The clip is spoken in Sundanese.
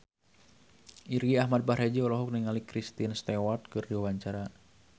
Irgi Ahmad Fahrezi olohok ningali Kristen Stewart keur diwawancara